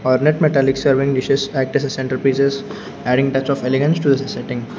metallic serving dishes act as a centre pieces adding touch of elegance to the setting.